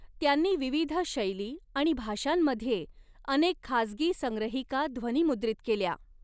त्यांनी विविध शैली आणि भाषांमध्ये अनेक खाजगी संग्रहिका ध्वनिमुद्रित केल्या.